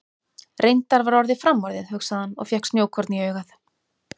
Reyndar var orðið framorðið, hugsaði hann og fékk snjókorn í augað.